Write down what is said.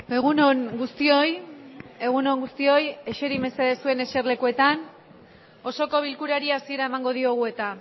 egun on guztioi egunon guztioi eseri mesedez suen eser lekuetan osoko bilkurari hasiera emango diogu eta